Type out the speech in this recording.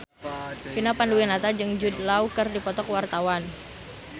Vina Panduwinata jeung Jude Law keur dipoto ku wartawan